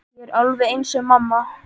Ég er alveg eins og mamma.